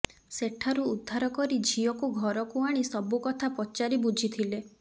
ସେଠାରୁ ଉଦ୍ଧାର କରି ଝିଅକୁ ଘରକୁ ଆଣି ସବୁ କଥା ପଚାରି ବୁଝିଥିଲେ